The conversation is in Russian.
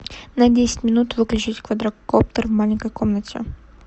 на десять минут выключить квадрокоптер в маленькой комнате